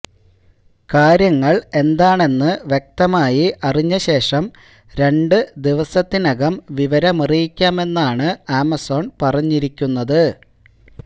കാര്യങ്ങള് എന്താണെന്ന് വ്യക്തമായി അറിഞ്ഞ ശേഷം രണ്ട് ദിവസത്തിനകം വിവരമറിയക്കാമെന്നാണ് ആമസോണ് പറഞ്ഞിരിക്കുന്നത്